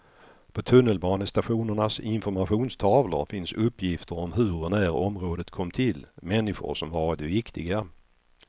På tunnelbanestationernas informationstavlor finns uppgifter om hur och när området kom till, människor som varit viktiga.